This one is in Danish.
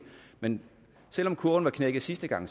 men selv om kurven knækkede sidste gang